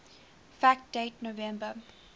fact date november